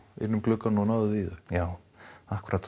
inn um gluggann og náðuð í þau já akkúrat